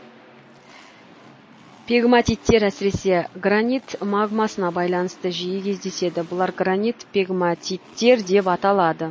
пегматиттер әсіресе гранит магмасына байланысты жиі кездеседі бұлар гранит пегматиттер деп аталады